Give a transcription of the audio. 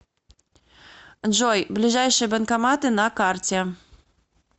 джой ближайшие банкоматы на карте